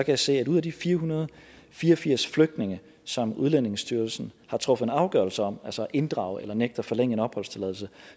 jeg se at ud af de fire hundrede og fire og firs flygtninge som udlændingestyrelsen har truffet en afgørelse om altså at inddrage eller nægte at forlænge en opholdstilladelse